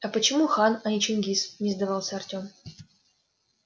а почему хан а не чингиз не сдавался артём